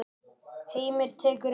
Heimir tekur undir.